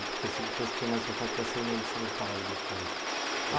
Eu percebi que você tinha mais contato com essa irmã de São Paulo depois.